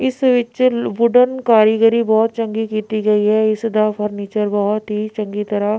ਇਸ ਵਿੱਚ ਵੂਡਨ ਕਾਰੀਗਰੀ ਬਹੁਤ ਚੰਗੀ ਕੀਤੀ ਗਈ ਹੈ ਇਸ ਦਾ ਫਰਨੀਚਰ ਬਹੁਤ ਹੀ ਚੰਗੀ ਤਰ੍ਹਾਂ --